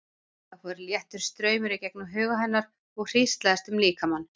Það fór léttur straumur í gegnum huga hennar og hríslaðist um líkamann.